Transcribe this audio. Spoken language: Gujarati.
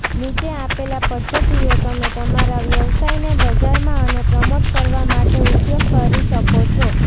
નીચે આપેલા પદ્ધતિઓ તમે તમારા વ્યવસાયને બજારમાં અને પ્રમોટ કરવા માટે ઉપયોગ કરી શકો છો